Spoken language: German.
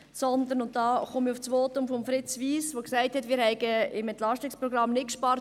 Damit komme ich auf das Votum von Fritz Wyss zu sprechen, der gesagt hat, wir hätten mit dem EP nicht gespart.